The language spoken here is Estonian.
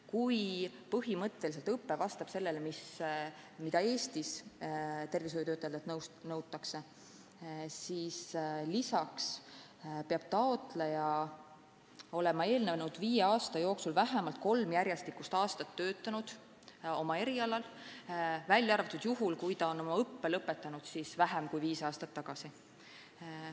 Kui põhimõtteliselt õpe vastab sellele, mida Eestis tervishoiutöötajatelt nõutakse, siis lisaks peab taotleja olema eelnenud viie aasta jooksul vähemalt kolm järjestikust aastat töötanud oma erialal, välja arvatud juhul, kui ta on oma õppe lõpetanud vähem kui viis aastat tagasi.